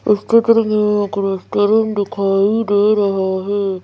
इस चित्र के एक रेस्टोरेंट दिखाई दे रहा है।